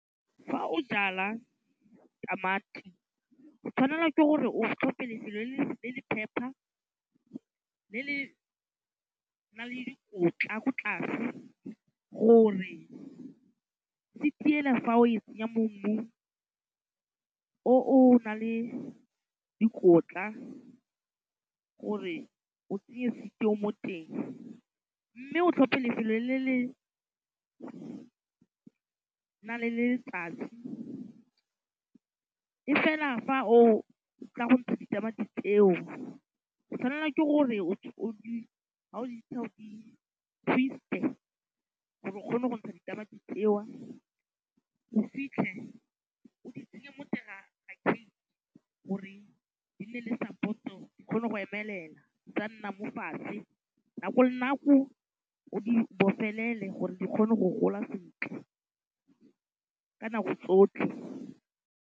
Fa o jala tamati o tshwanelwa ke gore o tlhophe lefelo le le phepha le le nang le dikotla ko tlase gore seed ele fa o e tsenya mo mmung o o na le dikotla gore o tsenye seed o mo teng mme o tlhophe lefelo le le na le letsatsi e fela fa o tla go ntsha ditamati tseo o tshwanela ke gore ha o di ntsha o di twist-e gore o kgone go ntsha ditamati tseo o fitlhe o di tsenye mo teng ga gore di nne le support-o di kgone go emelela di sa nna mo fatshe, nako le nako o di bofelele gore di kgone go gola sentle ka nako tsotlhe.